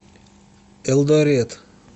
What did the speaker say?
элдорет